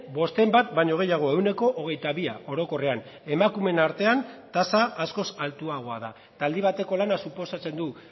bosten bat baino gehiago ehuneko hogeita bia orokorrean emakumeen artean tasa askoz altuagoa da eta aldi bateko lana suposatzen du